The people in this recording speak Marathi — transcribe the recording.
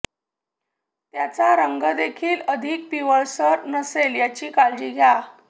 त्याचा रंगदेखील अधिक पिवळसर नसेल याची काळजी घ्या